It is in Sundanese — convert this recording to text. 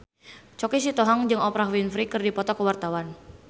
Choky Sitohang jeung Oprah Winfrey keur dipoto ku wartawan